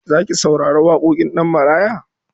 Za ki saurari waƙoƙin Ɗanmaraya?